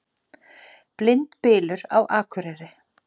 Blindbylur á Akureyri